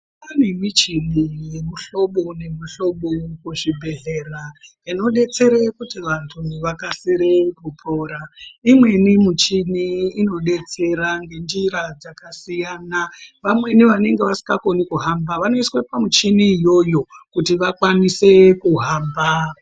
Kwaane ane michini yemihlobo nemihlobo iri muzvibhedhleya inodetsere kuti vantu vakasire kupora. Imweni michini inodetsera ngenjira dzakasiyana. Vamweni vanonga vasingakoni kuhamba vanoiswe pamichini iyoyo kuti vakwanise kuhamba.